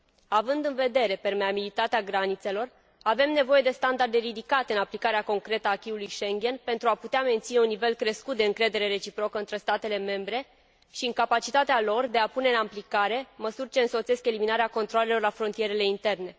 Având în vedere permeabilitatea granițelor, avem nevoie de standarde ridicate în aplicarea concretă a acquis ului Schengen pentru a putea menține un nivel crescut de încredere reciprocă între statele membre și în capacitatea lor de a pune în aplicare măsuri ce însoțesc eliminarea controalelor la frontierele interne.